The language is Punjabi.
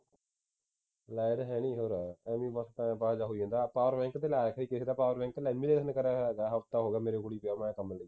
light ਹੈ ਨਹੀਂ ਊਂਰਾ ਖਾਲੀ ਬੱਸ time ਪਾਸ ਜਿਹਾ ਹੋ ਜਾਂਦਾ ਹੈ power bank ਤੇ ਲਾਇਆ ਸੀ ਕਿਸੇ ਦਾ power bank lamination ਕਰਿਆ ਹੋਇਆ ਹੋਗਾ ਹਫ਼ਤਾ ਹੋ ਗਿਆ ਮੇਰੇ ਕੋਲ ਹੀ ਪਆਂ ਹੈ